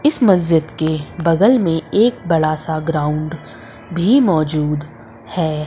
इस मस्जिद के बगल में एक बड़ा सा ग्राउंड भी मौजूद है।